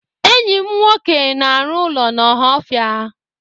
Enyị m nwoke na-arụ ụlọ n'Ọhaọfịa.